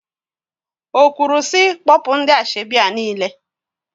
O kwuru sị, kpọpụ ndị asọebi a niile?